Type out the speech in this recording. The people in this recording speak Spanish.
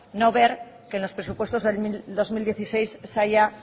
no ver que en los presupuestos del dos mil dieciséis se haya